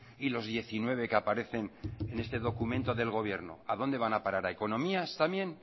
y los diecinueve que aparecen en este documento del gobierno a dónde van a parar a economías también